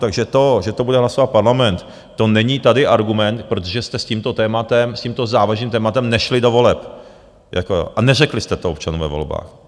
Takže to, že to bude hlasovat Parlament, to není tady argument, protože jste s tímto tématem, s tímto závažným tématem, nešli do voleb a neřekli jste to občanům ve volbách.